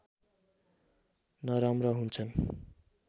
नराम्रा हुन्छन्